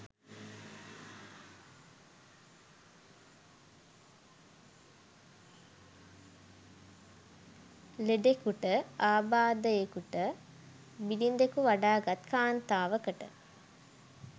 ලෙඩෙකුට, ආබාධයෙකුට, බිළිඳකු වඩාගත් කාන්තාවකට